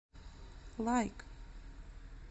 лайк